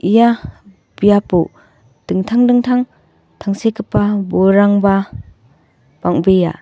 ia biapo dingtang dingtang tangsekgipa bolrangba bang·bea.